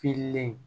Fililen